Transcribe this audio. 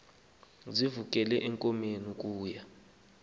sivukele ezinkomeni ukuya